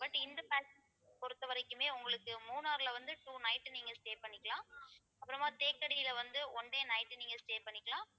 but இந்த pack பொறுத்தவரைக்குமே உங்களுக்கு மூணார்ல வந்து two night நீங்க stay பண்ணிக்கலாம் அப்புறமா தேக்கடியில வந்து one day night நீங்க stay பண்ணிக்கலாம்